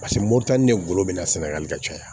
Paseke moto ni n go bɛna sɛnɛgali ka caya